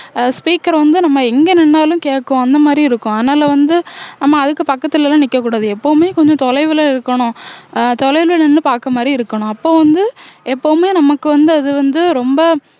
அஹ் speaker வந்து நம்ம எங்க நின்னாலும் கேக்கும் அந்த மாதிரி இருக்கும் அதனால வந்து நம்ம அதுக்கு பக்கத்துல எல்லாம் நிக்கக்கூடாது எப்பவுமே கொஞ்சம் தொலைவுல இருக்கணும் அஹ் தொலைவுல நின்னு பாக்குற மாதிரி இருக்கணும் அப்போ வந்து எப்பவுமே நமக்கு வந்து அது வந்து ரொம்ப